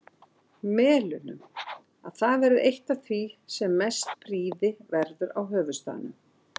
Melunum, að það verði eitt af því sem mest prýði verður á höfuðstaðnum.